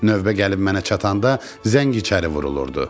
Növbə gəlib mənə çatanda zəng içəri vurulurdu.